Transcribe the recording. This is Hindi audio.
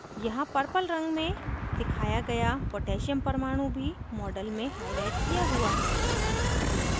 यहाँ purple रंग में दिखाया गया potassium परमाणु भी model में हाईलाइट किया हुआ है